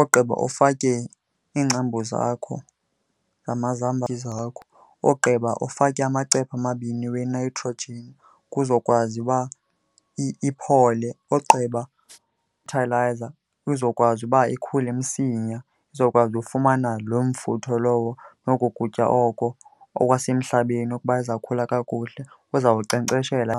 ogqiba ufake iingcambu zakho namazambane akho. Ogqiba ufake amacephe amabini we-nitrogen kuzokwazi uba iphole, ogqiba izokwazi uba ikhule msinya, izokwazi ufumana loo mfutho lowo noko kutya oko okwasemhlabeni ukuba izawukhula kakuhle, uzawunkcenkceshela.